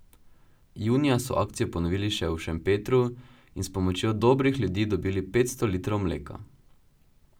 Junija so akcijo ponovili še v Šempetru in s pomočjo dobrih ljudi dobili petsto litrov mleka.